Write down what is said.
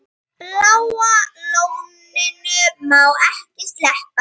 Bláa lóninu má ekki sleppa.